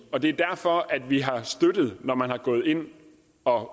og det er derfor at vi har støttet når man er gået ind og